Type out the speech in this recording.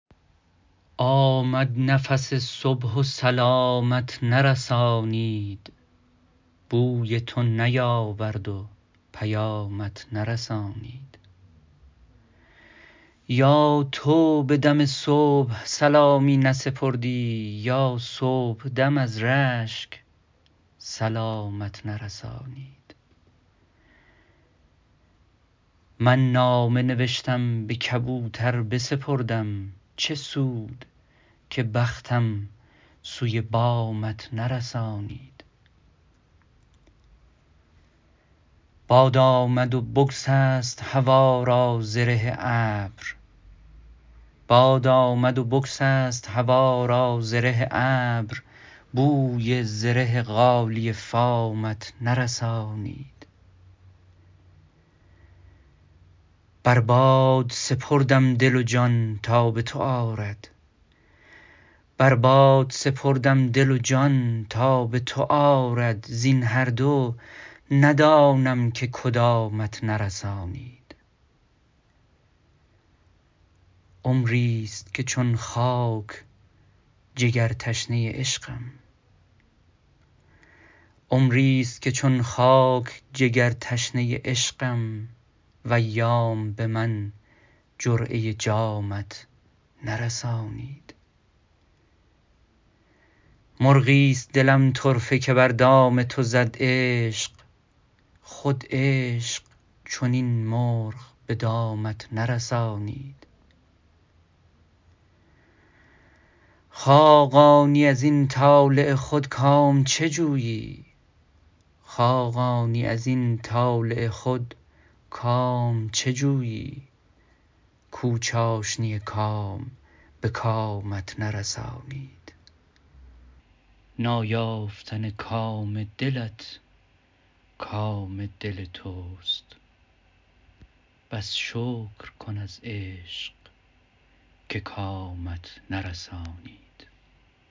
آمد نفس صبح و سلامت نرسانید بوی تو بیاورد و پیامت نرسانید یا تو به دم صبح سلامی نسپردی یا صبح دم از رشک سلامت نرسانید من نامه نوشتم به کبوتر بسپردم چه سود که بختم سوی بامت نرسانید باد آمد و بگسست هوا را زره ابر بوی زره غالیه فامت نرسانید بر باد سپردم دل و جان تا به تو آرد زین هر دو ندانم که کدامت نرسانید عمری است که چون خاک جگر تشنه عشقم و ایام به من جرعه جامت نرسانید مرغی است دلم طرفه که بر دام تو زد عشق خود عشق چنین مرغ به دامت نرسانید خاقانی ازین طالع خود کام چه جویی کو چاشنی کام به کامت نرسانید نایافتن کام دلت کام دل توست پس شکر کن از عشق که کامت نرسانید